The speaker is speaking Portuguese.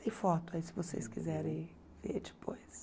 Tem foto aí, se vocês quiserem ver depois.